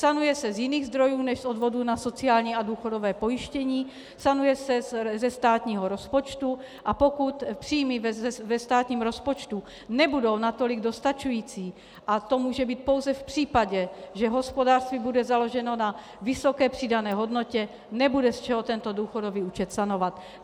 Sanuje se z jiných zdrojů než z odvodů na sociální a důchodové pojištění, sanuje se ze státního rozpočtu, a pokud příjmy ve státním rozpočtu nebudou natolik dostačující, a to může být pouze v případě, že hospodářství bude založeno na vysoké přidané hodnotě, nebude z čeho tento důchodový účet sanovat.